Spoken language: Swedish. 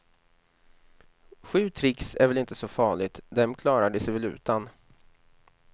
Sju tricks är väl inte så farligt, dem klarar de sig väl utan.